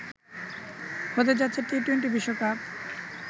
হতে যাচ্ছে টি-টোয়েন্টি বিশ্বকাপ